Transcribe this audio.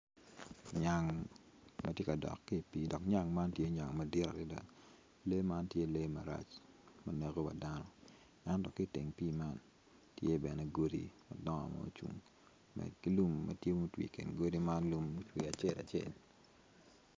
Nyang ma tye ka a ki i pii dok nyang man tye nyang madit adada lee man tye lee marac ma neko wadano i teng pii man tye bene godi madong lum.